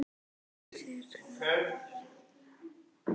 Þér stendur það enn til boða.